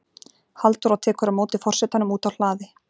Halldóra tekur á móti forsetanum úti á hlaði.